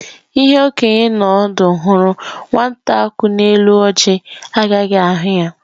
Ihe okenye n'ọdụ hụrụ, nwate ku n'elu ọjị agaghị ahụ ya.